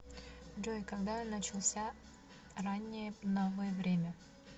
джой когда начался раннее новое время